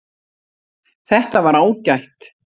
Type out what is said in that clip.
Þetta var ágætt